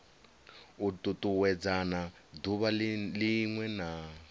u tutuwedzana duvha linwe na